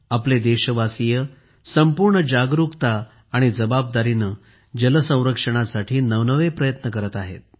आपले देशवासीय संपूर्ण जागरुकता आणि जबाबदारीने जल संरक्षणासाठी नवनवे प्रयत्न करत आहेत